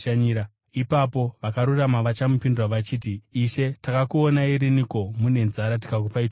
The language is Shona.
“Ipapo vakarurama vachamupindura vachiti, ‘Ishe, takakuonai riniko mune nzara tikakupai chokunwa?